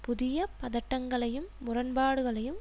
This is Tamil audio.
புதிய பதட்டங்களையும் முரண்பாடுகளையும்